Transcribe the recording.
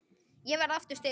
Ég verð aftur styrk.